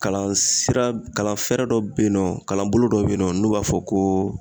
Kalansira kalanfɛɛrɛ dɔ be yen nɔ kalanbolo dɔ be yen nɔ n'o b'a fɔ koo